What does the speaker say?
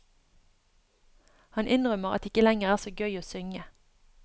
Han innrømmer at det ikke lenger er så gøy å synge.